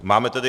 Máme tedy...